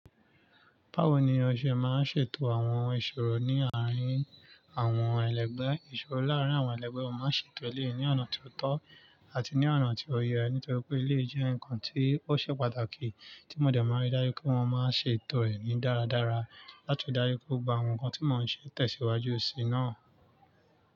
Báwo ni o ṣe máa ń ṣètò àwọn ìṣòro ní àárín àwọn ẹlẹgbẹ́? Ìṣòro láàárín àwọn ẹlẹgbẹ́, o máa ṣètò èleyi ní ọ̀nà ti ó tọ́ àti ní ọ̀nà tí ó yẹ, nítorí pé èleyi jẹ́ ǹkan tí ó ṣe pàtàkì tí mo dẹ̀ máa ń ri dájú pé mo máa ń ṣètò ẹ ní dáradára láti ri dájú pé gbogbo àwọn ǹkan tí mọ ń ṣe tẹ̀síwájú síi náà.